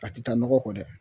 A ti taa nɔgɔ kɔ dɛ